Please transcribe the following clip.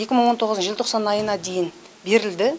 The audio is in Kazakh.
екі мың он тоғыздың желтоқсан айына дейін берілді